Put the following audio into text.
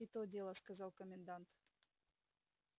и то дело сказал комендант